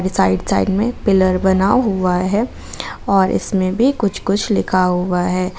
Side side में pillar बना हुआ है और इसमें भी कुछ कुछ लिखा हुआ है।